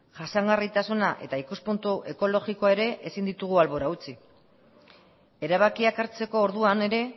jasangarritasuna eta ikuspuntu ekologikoa ere ezin ditugu albora utzi erabakiak hartzeko orduan ere